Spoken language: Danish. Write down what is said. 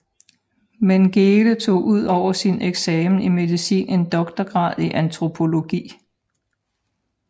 Mengele tog ud over sin eksamen i medicin en doktorgrad i antropologi